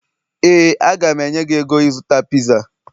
éè, a ga m enye gị ego ịzụta piza